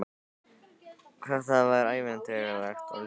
Hvað það var ævintýralegt og hlýtt.